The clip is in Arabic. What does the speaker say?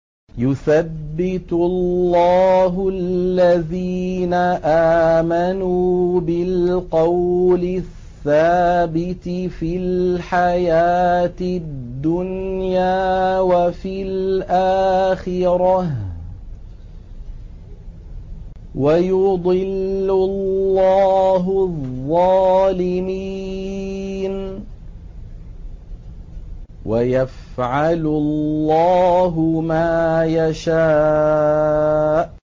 يُثَبِّتُ اللَّهُ الَّذِينَ آمَنُوا بِالْقَوْلِ الثَّابِتِ فِي الْحَيَاةِ الدُّنْيَا وَفِي الْآخِرَةِ ۖ وَيُضِلُّ اللَّهُ الظَّالِمِينَ ۚ وَيَفْعَلُ اللَّهُ مَا يَشَاءُ